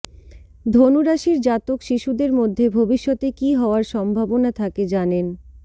ধনু রাশির জাতক শিশুদের মধ্যে ভবিষ্যতে কী হওয়ার সম্ভাবনা থাকে জানেন